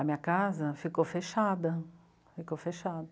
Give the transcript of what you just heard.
A minha casa? Ficou fechada, ficou fechada.